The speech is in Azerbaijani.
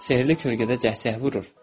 Sehrli kölgədə cəhcəh vurur.